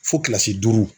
Fo kilasi duuru